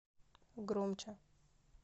громче